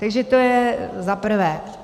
Takže to je za prvé.